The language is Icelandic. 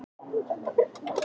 Blín, kveiktu á sjónvarpinu.